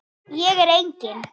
Ég er engin.